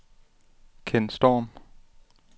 Ken Storm